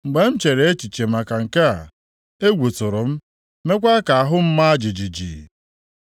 Mgbe m chere echiche maka nke a, egwu tụrụ m meekwa ka ahụ m maa jijiji.